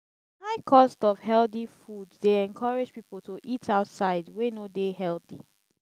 di high cost of healthy food dey encourage people to eat outside wey no dey healthy.